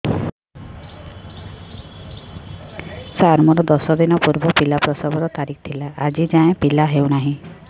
ସାର ମୋର ଦଶ ଦିନ ପୂର୍ବ ପିଲା ପ୍ରସଵ ର ତାରିଖ ଥିଲା ଆଜି ଯାଇଁ ପିଲା ହଉ ନାହିଁ